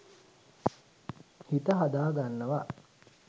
හිත හදා ගන්නවා.